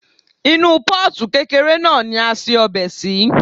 Inú Pọ́ọ̀tù kékeré náà ni a se ọbẹ̀ sí.